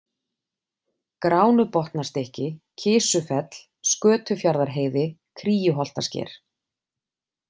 Gránubotnastykki, Kisufell, Skötufjarðarheiði, Kríuholtasker